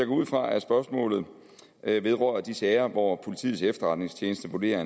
ud fra at spørgsmålet vedrører de sager hvor politiets efterretningstjeneste vurderer